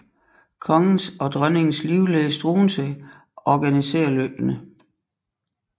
Kongens og dronningens livlæge Struensee organisere løbene